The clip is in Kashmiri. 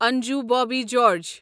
انجو بوبی جارج